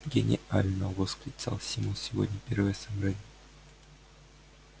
гениально восклицал симус сегодня первое собрание